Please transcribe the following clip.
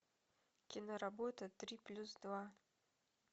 киноработа три плюс два